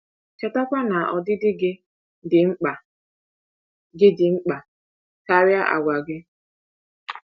Chetakwa na ọdịdị gị dị mkpa gị dị mkpa karịa àgwà gị.